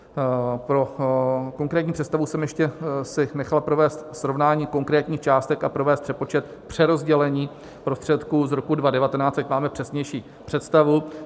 Pro konkrétní představu jsem si ještě nechal provést srovnání konkrétních částek a provést přepočet přerozdělení prostředků z roku 2019, ať máme přesnější představu.